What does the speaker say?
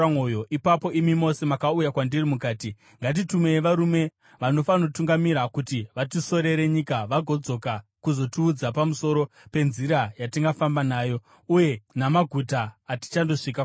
Ipapo imi mose makauya kwandiri mukati, “Ngatitumei varume vanofanotungamira kuti vatisorere nyika vagodzoka kuzotiudza pamusoro penzira yatingafamba nayo uye namaguta atichandosvika kwaari.”